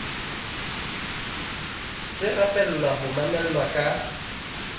se rapella ho mamelwa ka